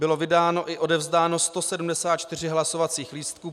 Bylo vydáno i odevzdáno 174 hlasovacích lístků.